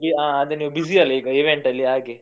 ಹ ಅದೆ ನೀವ್ busy ಅಲ್ಲ event ಅಲ್ಲಿ ಹಾಗೆ.